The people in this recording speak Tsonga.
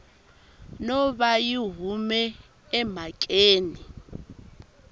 no va yi hume emhakeni